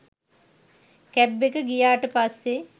cab එක ගියාට පස්සේ